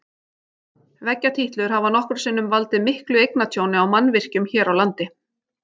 Veggjatítlur hafa nokkrum sinnum valdið miklu eignatjóni á mannvirkjum hér á landi.